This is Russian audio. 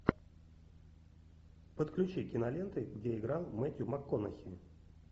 подключи киноленты где играл мэттью макконахи